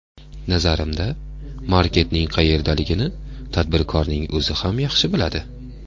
Nazarimda, maketning qayerdaligini tadbirkorning o‘zi ham yaxshi biladi.